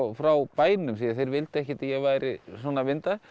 frá bænum því þeir vildu ekkert að ég væri svona að mynda